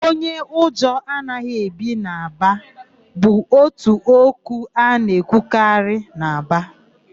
Onye ụjọ anaghị ebi Aba' bụ ótù okwu a na-ekwukarị n'Aba.